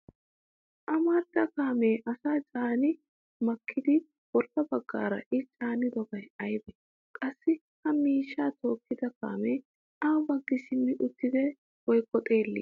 Amarida kaamee asaa caani makkidi bolla baggaara I caanidobay aybee? Qassi ha miishshaa tookkidi kaamee awa baggi simmi uttidee woykko xeellii?